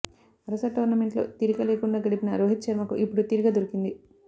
వరుస టోర్నమెంట్లలో తీరిక లేకుండా గడిపిన రోహిత్ శర్మకు ఇప్పుడు తీరిక దొరికింది